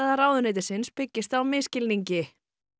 ráðuneytisins byggist á misskilningi